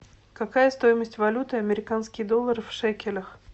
какая стоимость валюты американский доллар в шекелях